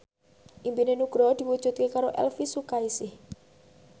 impine Nugroho diwujudke karo Elvi Sukaesih